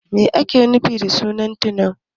Me ake nufi da sunan Tunau?